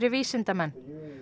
vísindamenn